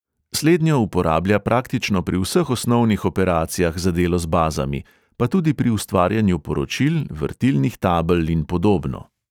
Slednjo uporablja praktično pri vseh osnovnih operacijah za delo z bazami, pa tudi pri ustvarjanju poročil, vrtilnih tabel in podobno.